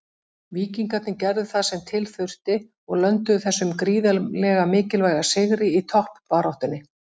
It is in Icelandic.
Víkingarnir gerðu það sem til þurfti og lönduðu þessum gríðarlega mikilvæga sigri í toppbaráttunni.